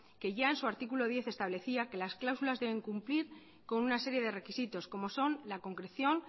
que ya en su artículo diez establecía que las cláusulas deben cumplir con una serie de requisitos como son la concreción